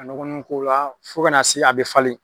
Ka nɔgɔnin k'o la fo ka na se a bɛ falen.